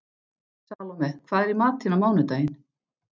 Salome, hvað er í matinn á mánudaginn?